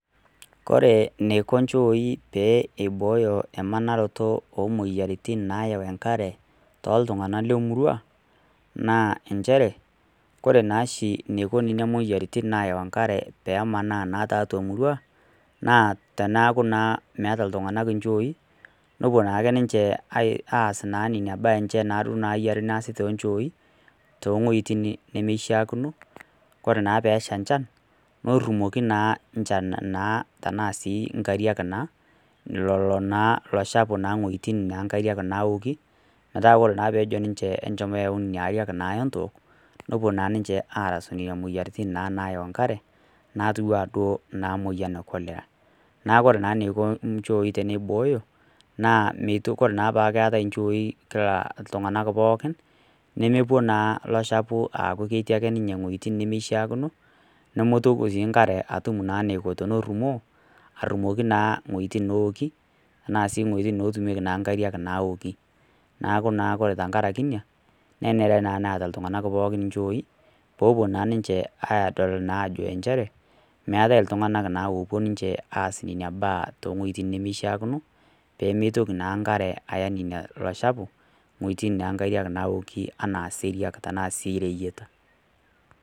Ore enikoo njooi pee eiboyoo emanaroti oo moyiaritin nayawu enkare too iltung'ana lee murua ore oshi enaiko Nena moyiaritin nayawu enkare pee emaana tiatua emurua naa tenekuu metaa iltung'ana njooi nepuo aas Nena mbaa enye Nena naishaa nesii tonjoi to wuejitin nimishakino ore naa pesha enchan netumoki elo chafu ewuejitin newoki metaa ore pejo ninche ajoki ore enchomi eyawua enkare nawok nepuo naa ninche arashu Nena moyiaritin nayawu enkare natii ena cholera neeku ore eniko njooi pee eiboyoo naa ore naa peeku keetae njooi kila iltung'ana pookin nemelo naa elo chafu aku ketii wuejitin nimishakino nemetum naa enkare entoki natumo arumoki ewuejitin netumieki enkariak nawoki neeku ore tenkaraki ena nenare naa neet iltung'ana pookin njooi pee epuo naa ninche adol naa njere meetae iltung'ana opuo aas ena mbae too wuejitin nimishaakino pee mitoki naa enkare Aya elo chafu ewuejitin netumieki enkariak nawoki enaa sii reyiata